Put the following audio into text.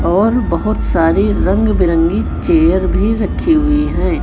और बहोत सारी रंग बिरंगी चेयर भी रखी हुई है।